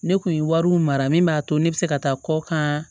Ne kun ye wariw mara min b'a to ne bɛ se ka taa kɔ kan